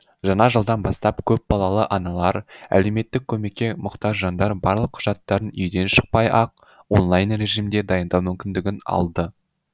жаңа жылдан бастап көпбалалы аналар әлеуметтік көмекке мұқтаж жандар барлық құжаттарын үйден шықпай ақ онлайн режимде дайындау мүмкіндігін алды